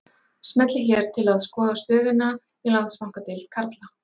Smellið hér til að skoða stöðuna í Landsbankadeild karla